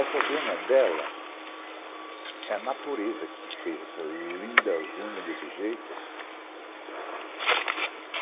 Essas unhas dela, é a natureza que fez essas lindas unhas desse jeito.